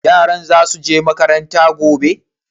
Yaran za su je makaranta gobe?